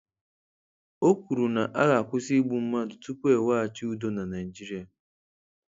O kwuru na a ga-akwụsị igbu mmadụ tupu e weghachi udo na Naịjirịa.